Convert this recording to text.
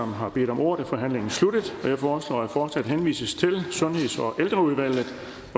har bedt om ordet er forhandlingen sluttet jeg foreslår er at forslaget henvises til sundheds og ældreudvalget